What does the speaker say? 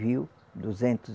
Viu? Duzentos